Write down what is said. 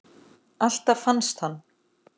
Alltaf fannst hann.